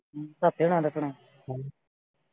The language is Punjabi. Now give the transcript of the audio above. ਸੱਤੇ ਹੁਣਾਂ ਦਾ ਸੁਣਾ।